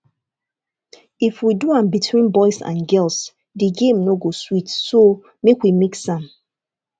if we do am between boys and girls the game no go sweet so make we mix am